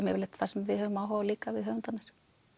yfirleitt það sem við höfum áhuga á líka höfundarnir